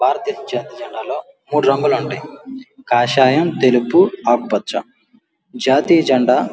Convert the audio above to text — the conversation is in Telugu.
భారత దేశం జాతీయ జెండాలో మూడు రంగులు ఉంటాయి. కాషాయం తెలుపు ఆకుపచ్చ. జాతీయ జెండా --